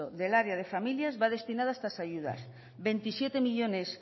del área de familia va destinados a estas ayudas veintisiete coma cinco millónes